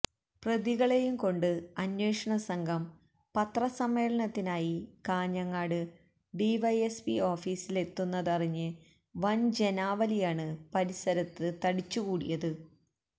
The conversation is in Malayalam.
പ്രതികളെയും കൊണ്ട് അന്വേഷണ സംഘം പത്രസമ്മേളനത്തിനായി കാഞ്ഞങ്ങാട് ഡിവൈഎസ്പി ഓഫീസിലെത്തുന്നതറിഞ്ഞ് വന് ജനാവലിയാണ് പരസരത്ത് തടിച്ചുകൂടിയത്